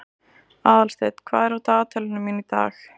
Aðalsteinn, hvað er á dagatalinu mínu í dag?